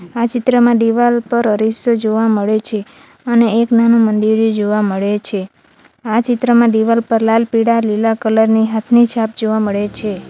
આ ચિત્રમાં દિવાલ પર અરીસો જોવા મળે છે અને એક નાનું મંદિરે જોવા મળે છે આ ચિત્રમાં દિવાલ પર લાલ પીળા લીલા કલર ની હાથની છાપ જોવા મળે છે.